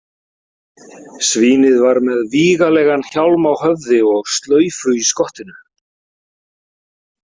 Svínið var með vígalegan hjálm á höfði og slaufu í skottinu.